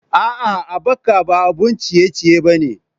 A'a, Abaca ba abun ciye-ciye ba ne.